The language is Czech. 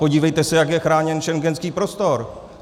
Podívejte se, jak je chráněn schengenský prostor.